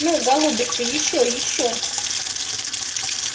ну голубушка ещё ещё